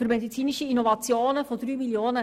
Dies betrifft vor allem das Inselspital.